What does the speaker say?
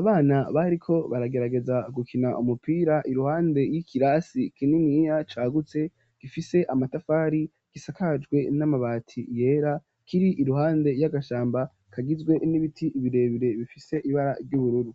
abana, bariko baragerageza, gukina umupira, iruhande y'ikirasi kininiya, cagutse, gifise amatafari, gisakajwe n'amabati yera, kiri iruhande y'agashamba, kagizwe n'ibiti birebire, bifise ibara ry'ubururu.